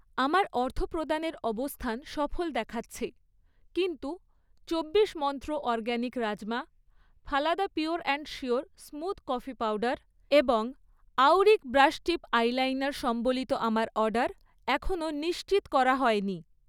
আমার অর্থপ্রদানের অবস্থান সফল দেখাচ্ছে, কিন্তু চব্বিশ Mantra organic rajma, Phalada pure and sure smooth coffee powder এবং আউরিক ব্রাশ টিপ আইলাইনার সম্বলিত আমার অর্ডার এখনও নিশ্চিত করা হয়নি